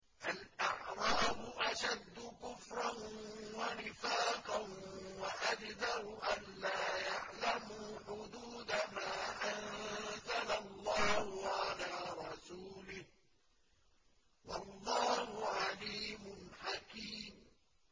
الْأَعْرَابُ أَشَدُّ كُفْرًا وَنِفَاقًا وَأَجْدَرُ أَلَّا يَعْلَمُوا حُدُودَ مَا أَنزَلَ اللَّهُ عَلَىٰ رَسُولِهِ ۗ وَاللَّهُ عَلِيمٌ حَكِيمٌ